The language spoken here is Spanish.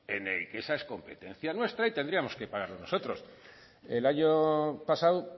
en el que esa es competencia nuestra y tendríamos que pagarlo nosotros el año pasado